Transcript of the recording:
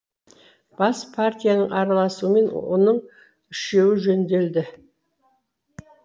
бас партияның араласуымен оның үшеуі жөнделді